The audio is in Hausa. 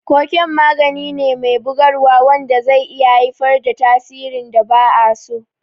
Koken magani me bugarwa wanda zai iya haifar da tasirin da ba a so.